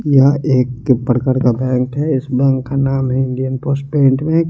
यहा एक प्रकार का गेट है इसमें खाना मीलियन --